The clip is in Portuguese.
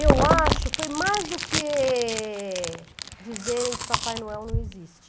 Eu acho, foi mais do que dizerem que Papai Noel não existe.